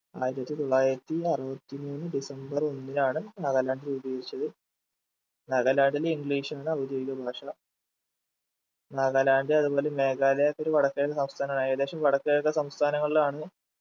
ആയിരത്തി തൊള്ളായിരത്തി അറുപത്തി മൂന്ന് ഡിസംബർ ഒന്നിനാണ് നാഗാലാ‌ൻഡ് രൂപീകരിച്ചത് നാഗാലാന്റിൽ english ആണ് ഔദ്യോഗിക ഭാഷ നാഗാലാന്റ് അതുപോലെ മേഘാലയ ഒക്കെ ഒരു വടക്കൻ സംസ്ഥാനമാണ് ഏകദേശം വടക്ക്കിഴക്കൻ സംസ്ഥാനങ്ങളിലാണ്